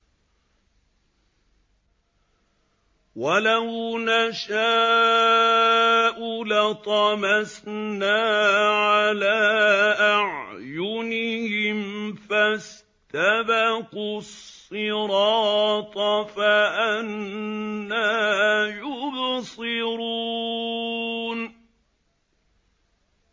وَلَوْ نَشَاءُ لَطَمَسْنَا عَلَىٰ أَعْيُنِهِمْ فَاسْتَبَقُوا الصِّرَاطَ فَأَنَّىٰ يُبْصِرُونَ